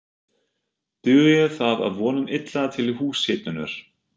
Dugir það að vonum illa til húshitunar.